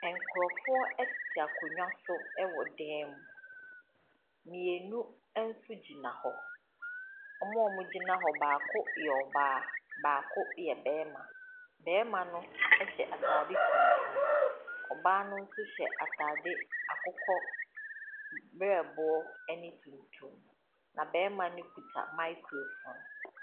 Nkurɔfoɔ tete akonnwa so wɔ dan mu, mmienu nso gyina hɔ. Wɔn a wɔgyina hɔ no baako yɛ ɔbaa, baako yɛ barima. Barima no hyɛ ataade tuntum, ɔbaa no nso hyɛ ataade akokɔ berɛboɔ ne tuntum, na barima ne kita microphone.